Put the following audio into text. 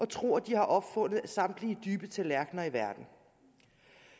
tror at de har opfundet samtlige dybe tallerkner i verden